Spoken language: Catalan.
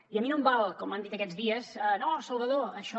i a mi no em val com han dit aquests dies no salvador això